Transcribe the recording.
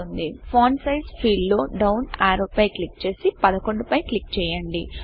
font size font size field లో down arrow పై click చేసి 11 పై క్లిక్ చేయండి